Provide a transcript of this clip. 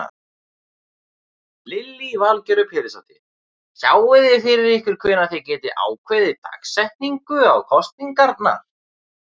Lillý Valgerður Pétursdóttir: Sjáiði fyrir ykkur hvenær þið getið ákveðið dagsetningu á kosningarnar?